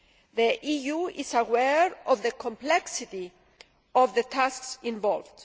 The EU is aware of the complexity of the tasks involved.